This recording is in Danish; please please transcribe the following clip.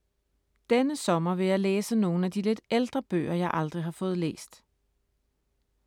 Denne sommer vil jeg læse nogle af de lidt ældre bøger, jeg aldrig har fået læst.